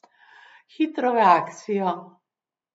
Hitro v akcijo!